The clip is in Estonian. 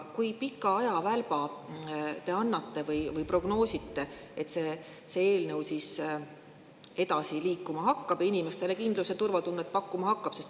Kui pikka ajavälpa te prognoosite, kuni see eelnõu hakkab edasi liikuma ja inimestele kindlus‑ ja turvatunnet pakkuma?